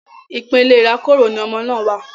Ipele irakoro ni ọmọ náà wa